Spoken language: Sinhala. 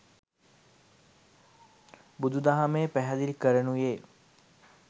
බුදුදහමේ පැහැදිලි කරනුයේ